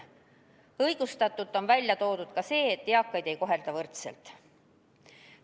Õigustatult on välja toodud ka see, et eakaid ei kohelda võrdselt.